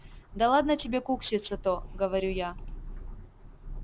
да ладно тебе кукситься-то говорю я